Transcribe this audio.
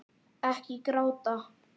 Ekki gráta